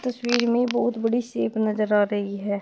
इस इमेज में बहुत बड़ी सेप नजर आ रही है।